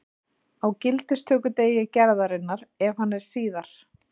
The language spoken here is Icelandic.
Á gildistökudegi gerðarinnar, ef hann er síðar.